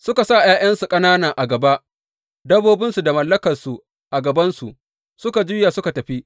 Suka sa ’ya’yansu ƙanana a gaba, dabbobinsu da mallakansu a gabansu, suka juya suka tafi.